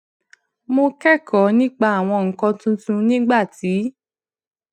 mo kékòó nípa àwọn nǹkan tuntun nígbà tí